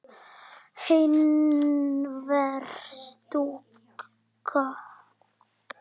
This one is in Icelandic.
Einhver stúlka?